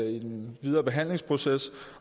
i den videre behandlingsproces